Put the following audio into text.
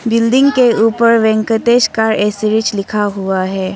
Building के ऊपर Venkatesh car accessories लिखा हुआ है।